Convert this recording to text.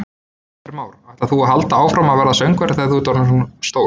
Heimir Már: Ætlar þú að halda áfram að verða söngvari þegar þú ert orðinn stór?